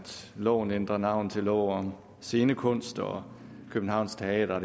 loven ændrer navn til lov om scenekunst og københavns teater